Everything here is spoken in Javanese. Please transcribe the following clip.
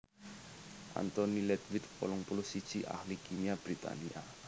Anthony Ledwith wolung puluh siji ahli kimia Britania